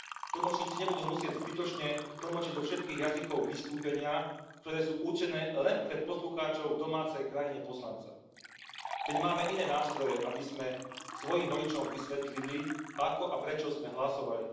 Tlmočníci nebudú musieť zbytočne tlmočiť do všetkých jazykov vystúpenia, ktoré sú určené len pre poslucháčov v domácej krajine poslanca. Veď máme iné nástroje, aby sme svojim voličom vysvetlili, ako a prečo sme hlasovali.